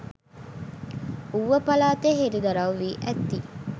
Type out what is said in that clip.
ඌව පළාතේ හෙලිදරව් වී ඇති